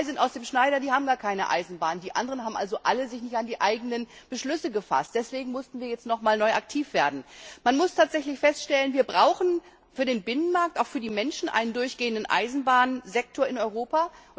Zwei sind aus dem Schneider, die haben gar keine Eisenbahn. Die anderen haben sich also alle nicht an die eigenen Beschlüsse gehalten. Deshalb mussten wir jetzt nochmals neu aktiv werden. Man muss tatsächlich feststellen Wir brauchen für den Binnenmarkt, auch für die Menschen, einen durchgehenden Eisenbahnsektor in Europa.